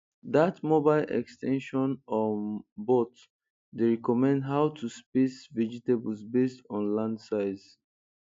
dat mobile ex ten sion um bot dey recommend how to space vegetables based on land size